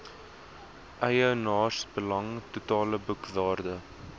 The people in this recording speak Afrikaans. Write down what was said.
eienaarsbelang totale boekwaarde